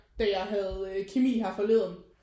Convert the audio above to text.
Da jeg havde kemi her forleden